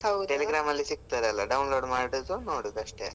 . Telegram ಅಲ್ ಸಿಗ್ತದಲ್ಲ download ಮಾಡೋದು ನೋಡೋದು ಅಷ್ಟೇ.